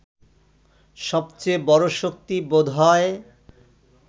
সবচেয়ে বড় শক্তি বোধ হয়